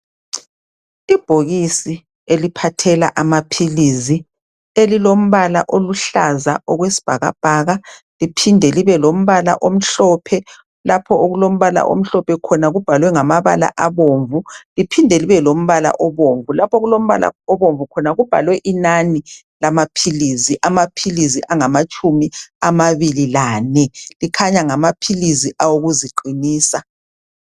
ibhokisi eliphathela amaphilisi elilombala oluhlaza okwesibhakabhaka liphinde libe lombala omhlophe lapho okulombala omhlophe khona kubhalwe namabala abomvu liphinde libe lombala obomvu lapha okulombala obomvu khona kubhalwe inani lamaphilizi amaphilizi angamatshumi ababili lane ekhanya ngamaphilisi okuziqinisa